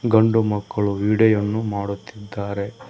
ಗಂಡು ಮಕ್ಕಳು ವಿಡೀಯೋ ವನ್ನು ಮಾಡುತ್ತಿದ್ದಾರೆ.